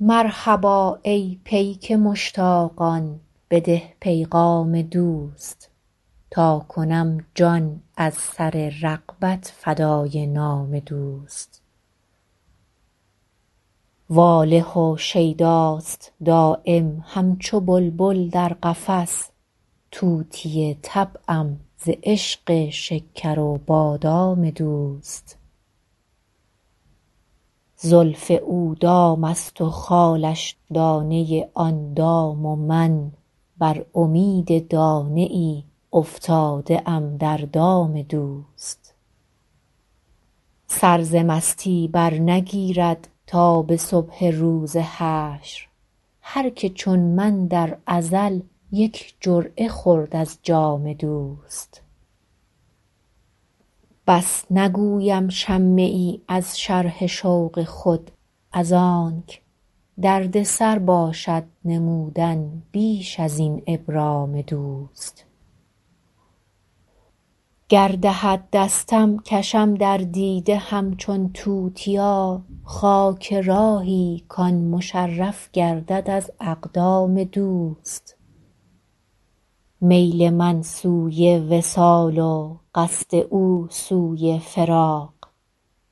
مرحبا ای پیک مشتاقان بده پیغام دوست تا کنم جان از سر رغبت فدای نام دوست واله و شیداست دایم همچو بلبل در قفس طوطی طبعم ز عشق شکر و بادام دوست زلف او دام است و خالش دانه آن دام و من بر امید دانه ای افتاده ام در دام دوست سر ز مستی برنگیرد تا به صبح روز حشر هر که چون من در ازل یک جرعه خورد از جام دوست بس نگویم شمه ای از شرح شوق خود از آنک دردسر باشد نمودن بیش از این ابرام دوست گر دهد دستم کشم در دیده همچون توتیا خاک راهی کـ آن مشرف گردد از اقدام دوست میل من سوی وصال و قصد او سوی فراق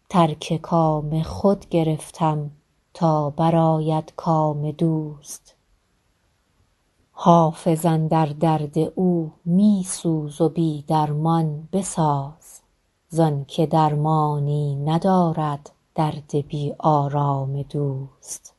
ترک کام خود گرفتم تا برآید کام دوست حافظ اندر درد او می سوز و بی درمان بساز زان که درمانی ندارد درد بی آرام دوست